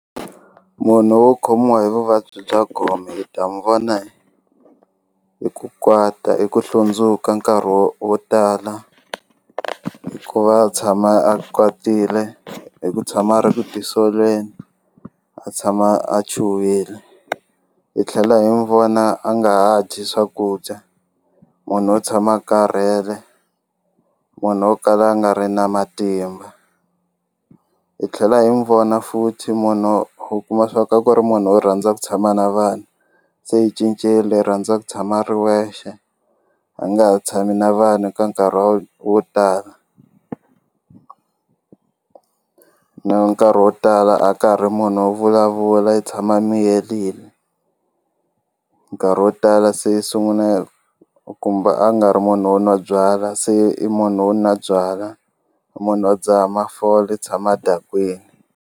Munhu wo khomiwa hi vuvabyi bya gome hi ta n'wu vona hi hi ku kwata hi ku hlundzuka nkarhi wo wo tala ku va a tshama a kwatile hi ku tshama a ri ku tisoleni a tshama a chuhile hi tlhela hi n'wu vona a nga ha dyi swakudya munhu wo tshama a karhele munhu wo kala a nga ri na matimba hi tlhela hi n'wu vona futhi munhu u kuma swa ku a ku ri munhu wo rhandza ku tshama na vanhu se i cincile u rhandza ku tshama u ri wexe a nga ha tshami na vanhu ka nkarhi wo wo tala nkarhi wo tala a ka ha ri munhu wo vulavula i tshama a miyerile nkarhi wo tala se u sungula kumba a nga ri munhu wo nwa byalwa se i munhu wo nwa byalwa i munhu wo dzaha mafole u tshama a dakwini.